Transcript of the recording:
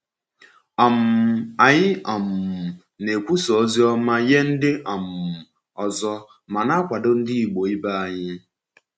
um Anyị um na-ekwusa ozi ọma nye ndị um ọzọ, ma na-akwado ndị Igbo ibe anyị.